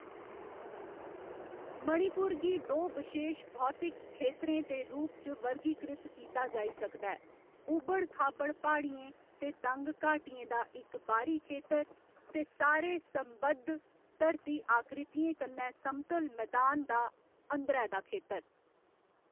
मणिपुर गी दो बशेश भौतिक खेतरें दे रूप च वर्गीकृत कीता जाई सकदा है ऊबड़ खाबड़ प्हाड़ियें ते तंग घाटियें दा इक बाह्‌री खेतर, ते सारे संबद्ध धरती आकृतियें कन्नै समतल मदान दा अंदरै दा खेतर।